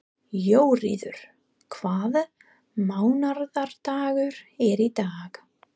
Jóríður, hvaða mánaðardagur er í dag?